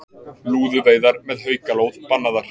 Lúðuveiðar með haukalóð bannaðar